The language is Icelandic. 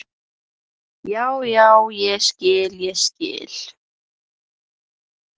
Já, já, ég skil, ég skil.